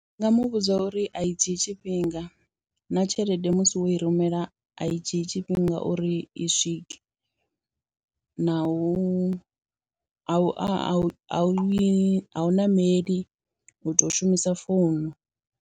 Ndi nga muvhudza uri a i dzhii tshifhinga, na tshelede musi wo i rumela a i dzhii tshifhinga uri i swike, na u a u a we a u ṋameli u to shumisa founu.